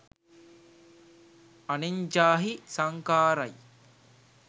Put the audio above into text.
අනෙඤ්ඡාහි සංඛාර යි.